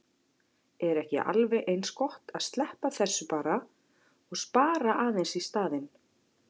Er ekki alveg eins gott að sleppa þessu bara og spara aðeins í staðinn?